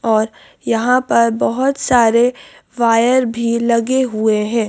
और यहां पर बहुत सारे वायर भी लगे हुए हैं।